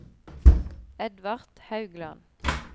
Edvard Haugland